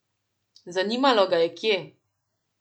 Zanimalo ga je kje.